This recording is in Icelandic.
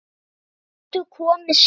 Þær gætu komið síðar.